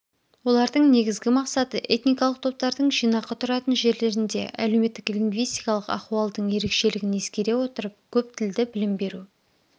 олардың негізгі мақсаты этникалық топтардың жинақы тұратын жерлерінде әлеуметтік лингвистикалық ахуалдың ерекшелігін ескере отырып көп тілді білім беру